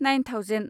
nine thousand